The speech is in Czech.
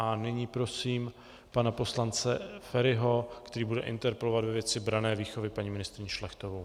A nyní prosím pana poslance Feriho, který bude interpelovat ve věci branné výchovy paní ministryni Šlechtovou.